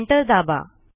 Enter दाबा